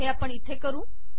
हे आपण इथे करू